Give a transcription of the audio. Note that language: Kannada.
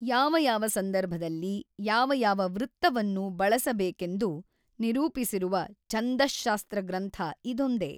ಯಾವ ಯಾವ ಸಂದರ್ಭದಲ್ಲಿ ಯಾವ ಯಾವ ವೃತ್ತವನ್ನು ಬಳಸಬೇಕೆಂದು ನಿರೂಪಿಸಿರುವ ಛಂದಃಶಾಸ್ತ್ರಗ್ರಂಥ ಇದೊಂದೇ.